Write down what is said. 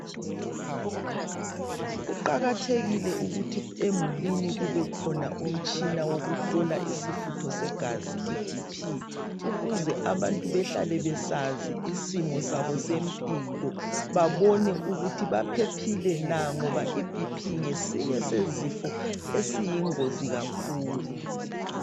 Kuqakathekile ukuba emdulini kubekhona umtshina wokuhlola isifutho segazi i BP ukuze abantu behlale besazi isimo sabo sempilo babone ukuthi baphephile na ngoba iBP ngesinye sezifo esiyingozi kakhulu.